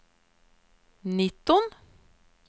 nitton